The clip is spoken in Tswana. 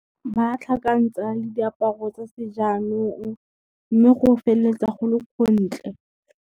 Ba tlhakantsa le diaparo tsa sejaanong, mme go feleletsa go le gontle.